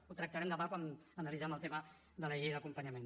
ho tractarem demà quan analitzem el tema de la llei d’acompanyament